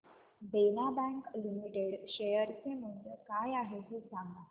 देना bank limited share चे मूल्य काय आहे हे सांगा